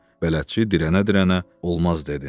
Bələdçi dirənə-dirənə olmaz dedi.